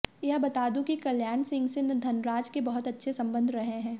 यहां बता दूं कि कल्याण सिंह से धनराज के बहुत अच्छे संबंध रहे हैं